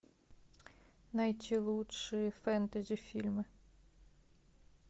найти лучшие фэнтези фильмы